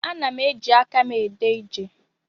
Ana m eji aka m ede ije.